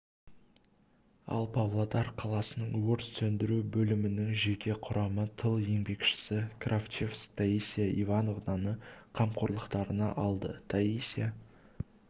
ал павлодар қаласының өрт сөндіру бөлімінің жеке құрамы тыл еңбекшісі кравчевск таисия ивановнаны қамқорлықтарына алды таисия